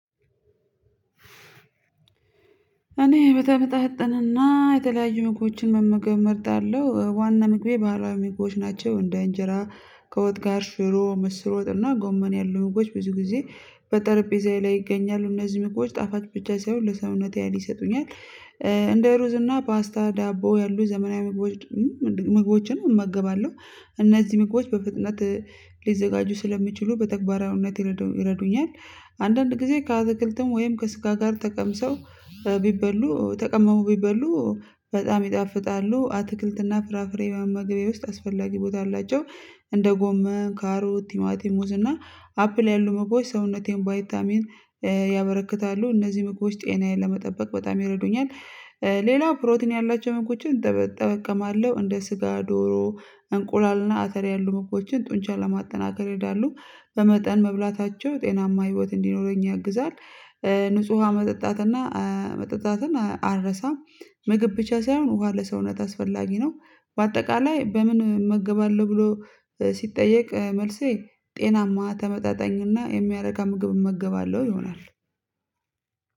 እኔ በተመጣጠነና የተለያዩ ምግቦችን መመገብ እመርጣለሁ ዋና ምግቤ ባህላዊ ምግቦች ናቸው እንደ አንጀራ ከወጥ ጋር ሽሮ ምስር ወጥና ጎመን ያሉ ምግቦች ብዙ ጊዜ በጠረጴዛዬ ላይ ይገኛሉ እነዚህ መግቦች ጣፋጭ ብቻ ሳይሆን ለሰውነቴ ሀይል ይሰጡኛል። እንደ ሩዝ እና ፓስታ ዳቦ ያሉ ዘመናዊ ምግቦች ምግቦችን እመገባለሁ። እነዚህ ምግቦች በፍጥነት ሊዘጋጁ ስለሚችሉ በተግባራዊነት ይረዱኛል። አንዳንድ ጊዜ ከአትክልትም ወይም ከስጋ ጋር ተቀምሰው ቢበሉ ተቀምሞ ቢበሉ በጣም ይጣፍጣሉ። አትክልትና ፍራፍሬዋን በምግቤ ውስጥ አስፈላጊ ቦታ አላቸው። እንደ ጎመን ካሮት ቲማቲም ሙዝ እና አፕል ያሉ መግቦች ሰውነቴን ቫይታሚን ያበረክታሉ። እነዚህ መግቦች ጤናዬን ለመጠበቅ በጣም ይረዱኛል። ፕሮቲን ያላቸውን ምግቦችን እጠቅማለሁ እንደ ስጋ ዶሮ እንቁላልና አተር ያሉ ምግቦችን ጡንቻ ለማጠናከር ይሄዳሉ። በመጠን መብላታቸው ጤናማ ህይወት እንዲኖረኝ ያግዛል። ንጹህ ውሃ መጠጣትና መጠጣትን አልረሳም። ምግብ ብቻ ሳይሆን ውሃ ለሰውነት አስፈላጊ ነው። በአጠቃላይ በምን መገባለሁ ብሎ ሲጠየቅ መልሴ ጤናማ ተመጣጣኝና የሚያረካ ምግብ እመገባለሁ ይሆናል።